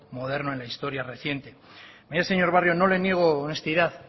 moderno en la historia reciente mire señor barrio no le niego honestidad